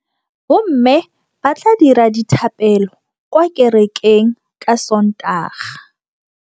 Bommê ba tla dira dithapêlô kwa kerekeng ka Sontaga.